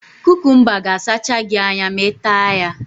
Kukumba ga asacha gị anya ma I taa ya